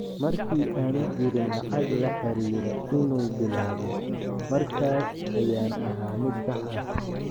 "Markii aanu jirin lacag la xariira inuu bilaabo, markaas ayaan ahaa mid sax ah."